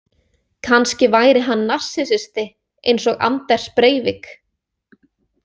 Kannski væri hann narsissisti eins og Anders Breivik.